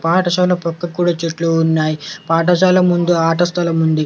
పాఠశాల పక్క కూడా చెట్లు ఉన్నాయ్. పాఠశాల ముందు ఆటస్థలం ఉంది.